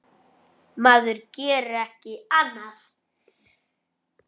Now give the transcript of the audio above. Maður gerir ekki annað!